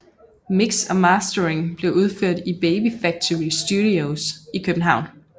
Mix og mastering blev udført i Baby Factory Studios i København